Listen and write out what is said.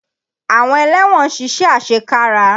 Àwọn ẹlẹ́wọ̀n ń ṣiṣẹ́ àṣekára.